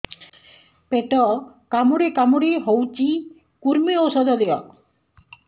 ପେଟ କାମୁଡି କାମୁଡି ହଉଚି କୂର୍ମୀ ଔଷଧ ଦିଅ